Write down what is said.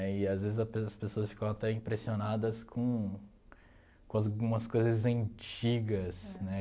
Né, e às vezes a pe as pessoas ficam até impressionadas com com algumas coisas antigas, né?